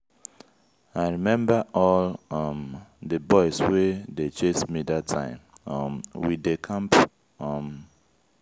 i remember all um the boys wey dey chase me dat time um we dey camp um